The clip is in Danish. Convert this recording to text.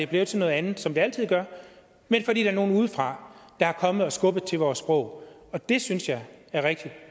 blevet til noget andet som det altid sker men fordi der er nogle udefra der er kommet og har skubbet til vores sprog det synes jeg er rigtig